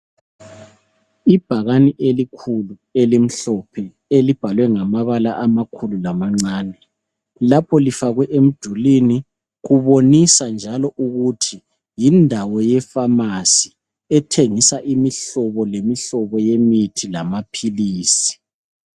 Ibhakane elikhulu elimhlophe elibhalwe ngamabala amakhulu lamancane. Lapho lifakwe emdulwini kubonisa njalo ukuthi yindawo yefamasi elithengisa imihlobo lemihlobo yamaphilisi.